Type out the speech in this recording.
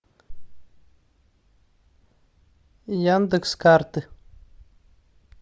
яндекс карты